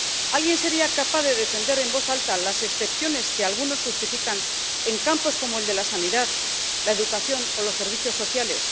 ¿Alguien sería capaz de defender en voz alta las excepciones que algunos justifican en campos como el de la sanidad, la educación o los servicios sociales?